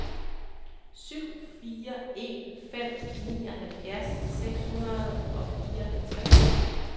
syv fire en fem nioghalvfjerds seks hundrede og fireoghalvtreds